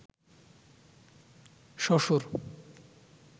শ্বশুর